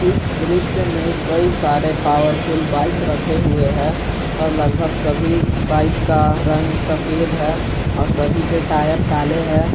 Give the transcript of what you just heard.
इस दृश्य में कई सारे पावरफुल बाइक रखे हुए हैं और लगभग सभी बाइक का रंग सफेद है और सभी के टायर काले हैं।